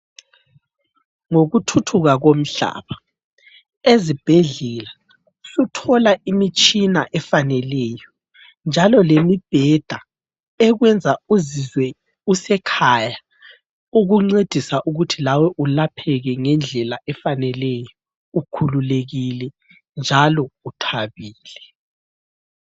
Ngokuthuthuka komhlaba ezibhedlela suthola imitshina efaneleyo, njalo lemibheda ekwenza uzizwe usekhaya, kukuncedisa ukuthi lawe uyelapheke ngendlela efaneleyo ukhululekile njalo uthabile.